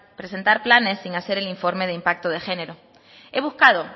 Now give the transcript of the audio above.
presentar planes sin hacer el informe de impacto de género he buscado